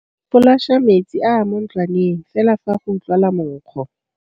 Folaša metsi a a mo ntlwaneng fela fa go utlwala monkgo.